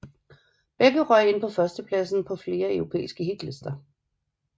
Begge røg ind på førstepladsen på flere europæiske hitlister